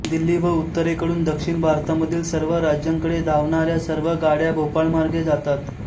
दिल्ली व उत्तरेकडून दक्षिण भारतामधील सर्व राज्यांकडे धावणाऱ्या सर्व गाड्या भोपाळमार्गे जातात